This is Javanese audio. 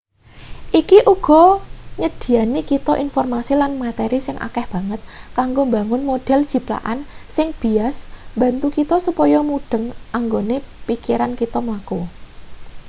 iki uga nyedhiyani kita informasi lan materi sing akeh banget kanggo mbangun model jiplakan sing bias mbantu kita supaya mudheng anggone pikiran kita mlaku